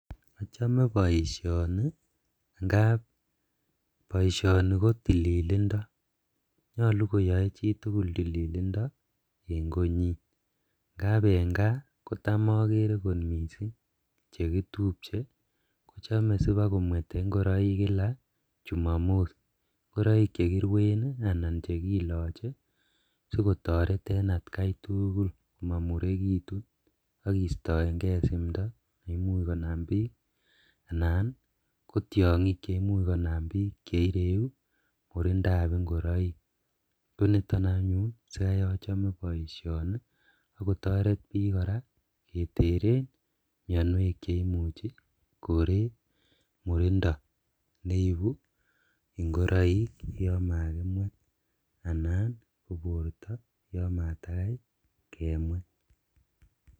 Achome boisioni ngab boisioni ko tililindo. Nyalu koyae chitugul tililindo eng konyin ngab eng kaa kotam agere kot mising chegitupche, kochame sibakomwete ingoraik kila chumamos. Ngoraik chegiruen anan chegilache sigotaret en atkai tugul mamuregitun ak kiistaenge simndo nemuch konam biik anan kotiangik chemuch konam biik che ireu murindab ingoraik. Konito anyun sigai achame boisioni agotaret biik kora keteren mianwek che imuchi kore murindo neibu ingiroik yon magimwet anan ko borta yon matagai kemwet.